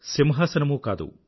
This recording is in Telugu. సింహాసనమూ కాదు